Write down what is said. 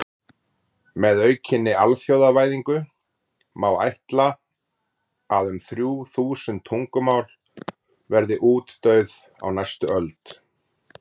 Með aukinni alþjóðavæðingu má ætla að um þrjú þúsund tungumál verði útdauð á næstu öld.